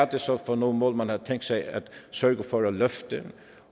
det så er for nogle mål man har tænkt sig at sørge for at løfte